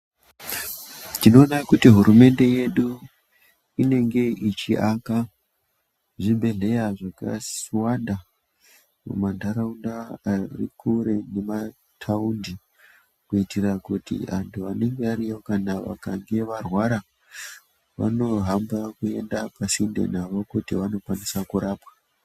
Tinoona kuti hurumende yedu inenge ichiaka zvibhehleya zvakawanda mumandaraunda Ari kure nemataundi kuitira kuti antu vanenge variyo kana vachinge vairwara vanokwanisa kuhamba kuenda pasinde vanokwanisa kurapwa.